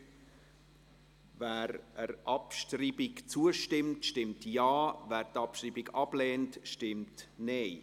Wer der Abschreibung der Ziffer 3 zustimmt, stimmt Ja, wer dies ablehnt, stimmt Nein.